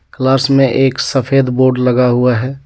Class में एक सफेद बोर्ड लगा हुआ है.